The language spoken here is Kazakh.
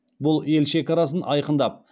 бұл ел шекарасын айқындап